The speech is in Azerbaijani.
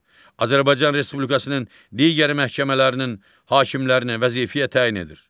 Azərbaycan Respublikasının digər məhkəmələrinin hakimlərini vəzifəyə təyin edir.